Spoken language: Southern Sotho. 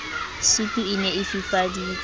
sutu e ne e fifaditswe